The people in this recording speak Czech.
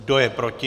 Kdo je proti?